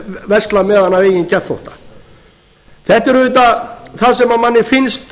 versla með hana að eigin geðþótta þetta er auðvitað það sem manni finnst